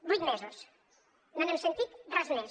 vuit mesos no n’hem sentit res més